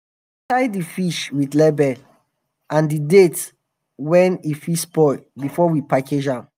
we dey tie di fish with label and di date wen e fit spoil before we package am.